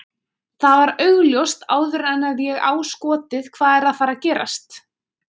Það var augljóst áður en að ég á skotið hvað er að fara að gerast.